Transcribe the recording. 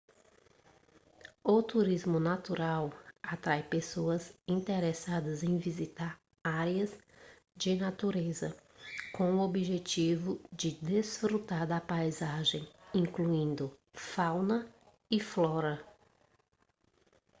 o turismo natural atrai pessoas interessadas em visitar áreas de natureza com o objetivo de desfrutar da paisagem incluindo fauna e flora